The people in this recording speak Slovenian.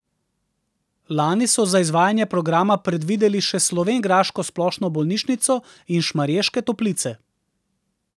Lani so za izvajanje programa predvideli še slovenjgraško splošno bolnišnico in Šmarješke Toplice.